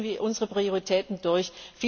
Wie setzen wir unsere Prioritäten durch?